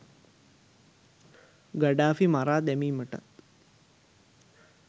Gaddafi මරා දැමීමටත්